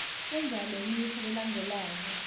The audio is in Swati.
fundza lemisho lelandzelako